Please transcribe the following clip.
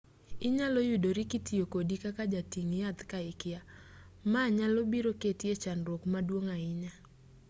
inyalo yudori kitiyo kodi kaka jating' yath ka ikia ma nyalo biro keti e chandruok maduong' ahinya